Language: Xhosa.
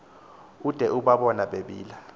ude ubabone bebila